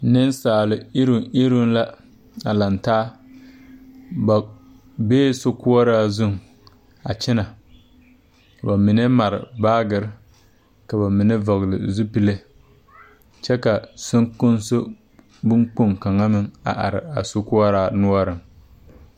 Neŋsaal iruŋ iruŋ la a langtaa ba bee so koɔraa zuŋ a kyɛnɛ ka ba mine mare baagirre ka ba mine vɔgle zupile kyɛ ka sonkonso bon kpoŋ kaŋa meŋ a are a so koɔraa noɔreŋ.